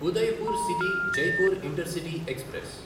Udaipur city Jaipur intercity express